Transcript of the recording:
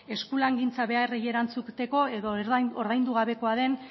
eskulangintza beharrei erantzuteko edo ordaindu gabekoa den